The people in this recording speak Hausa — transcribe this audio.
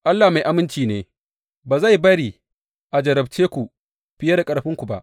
Allah mai aminci ne; ba zai bari a jarrabce ku fiye da ƙarfinku ba.